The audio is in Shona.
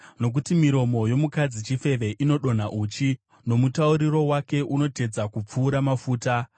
Nokuti miromo yomukadzi chifeve inodonha uchi, nomutauriro wake unotedza kupfuura mafuta;